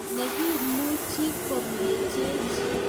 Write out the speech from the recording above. Ne ki'muchi komechech,